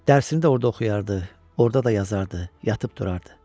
Dərsini də orda oxuyardı, orda da yazardı, yatıb durardı.